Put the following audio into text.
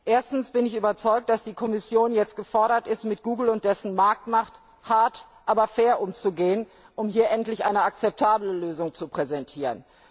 Erstens bin ich überzeugt, dass die Kommission jetzt gefordert ist, mit Google und dessen Marktmacht hart, aber fair umzugehen, um hier endlich eine akzeptable Lösung zu präsentieren.